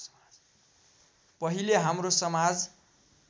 पहिले हाम्रो समाज